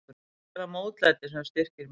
Kannski er það mótlætið sem styrkir mig.